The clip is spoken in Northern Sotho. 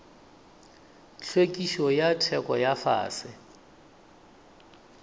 hlwekišo ya theko ya fase